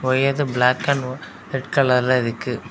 அதுக்கு அடுத்து black and red கலர்ல இருக்கு.